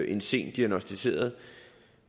en sent diagnosticeret